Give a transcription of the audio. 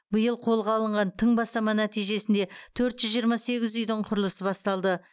биыл қолға алынған тың бастама нәтижесінде төрт жүз жиырма сегіз үйдің құрылысы басталды